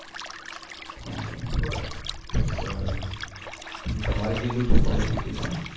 બરાબર તમારે કેટલું છે qualification